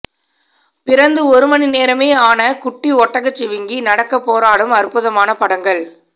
பிறந்து ஒரு மணி நேரமே ஆன குட்டி ஒட்டகச்சிவிங்கி நடக்க போராடும் அற்புதமான படங்கள்